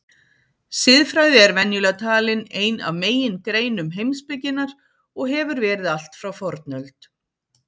Siðfræði er venjulega talin ein af megingreinum heimspekinnar og hefur verið allt frá fornöld.